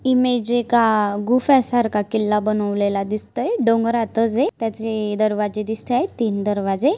Image एका गुफ़्या सारखा किल्ला बनावलेल दिसतय डोंगररात जे त्याचे दरवाजे दिसत आहेत तीन दरवाजे.